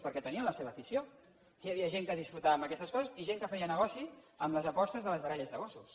perquè tenien la seva afició hi havia gent que gaudia amb aquestes coses i gent que feia negoci amb les apostes de les baralles de gossos